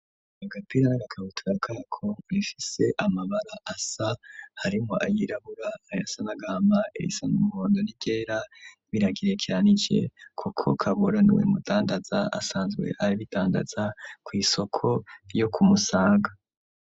Agapira na gakabutura kako bifise amabara asa harimwo ayirabura, ayasa n'agama, irisa n'umuhondo n'iryera biragerarekeranyije kuko Kabura niwe mudandaza asanzwe abitandaza ku isoko yo ku musaga.